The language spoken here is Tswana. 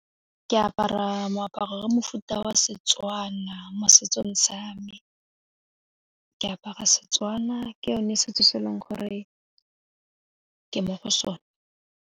Ke apara moaparo wa mofuta wa Setswana mo setsong sa me, ke apara Setswana ke yone setso se e leng gore ke mo go sone.